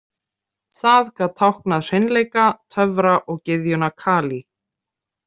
Það gat táknað hreinleika, töfra og gyðjuna Kali.